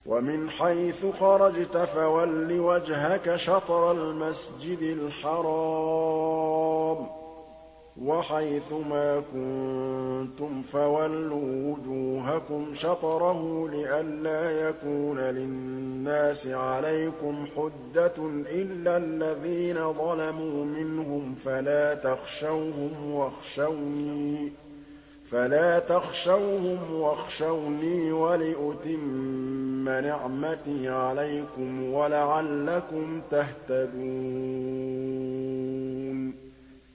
وَمِنْ حَيْثُ خَرَجْتَ فَوَلِّ وَجْهَكَ شَطْرَ الْمَسْجِدِ الْحَرَامِ ۚ وَحَيْثُ مَا كُنتُمْ فَوَلُّوا وُجُوهَكُمْ شَطْرَهُ لِئَلَّا يَكُونَ لِلنَّاسِ عَلَيْكُمْ حُجَّةٌ إِلَّا الَّذِينَ ظَلَمُوا مِنْهُمْ فَلَا تَخْشَوْهُمْ وَاخْشَوْنِي وَلِأُتِمَّ نِعْمَتِي عَلَيْكُمْ وَلَعَلَّكُمْ تَهْتَدُونَ